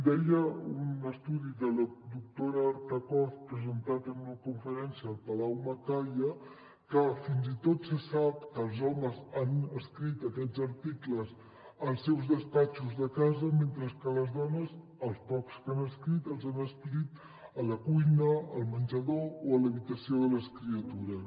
deia un estudi de la doctora artazcoz presentat en una conferència al palau macaya que fins i tot se sap que els homes han escrit aquests articles als seus despatxos de casa mentre que les dones els pocs que han escrit els han escrit a la cuina al menjador o a l’habitació de les criatures